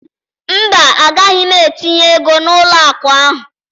mba, agaghị m etinye ego m n'ụlọ akụ ahụ